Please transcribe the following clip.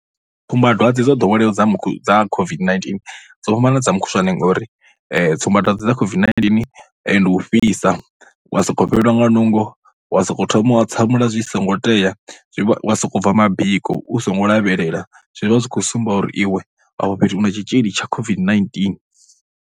Tsumbadwadze dzo ḓoweleaho dza mukhu, dza COVID-19 dzo fhambana na dza mukhushwane ngori tsumbadwadze dza COVID-19 ndi u fhisa wa sokou fhelelwa nga nungo, wa sokou thoma u hatsamula zwi songo tea, zwi, wa sokou bva mabiko u songo lavhelela. Zwi vha zwi khou sumba uri iwe a fha fhethu u na tshitzhili tsha COVID-19.